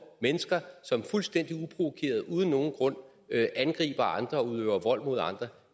mennesker som fuldstændig uprovokeret uden nogen grund angriber andre og udøver vold mod andre